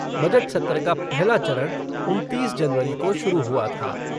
Budget सत्र का पहला चरण उनतीस जनवरी को शुरू हुआ था।